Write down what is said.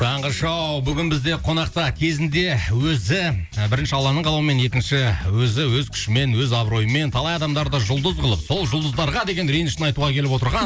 таңғы шоу бүгін бізде қонақта кезінде өзі бірінші алланың қалауымен екінші өзі өз күшімен өз абыройымен талай адамдарды жұлдыз қылып сол жұлдыздарға деген ренішін айтуға келіп отырған